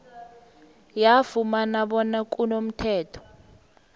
yafumana bona kunomthetho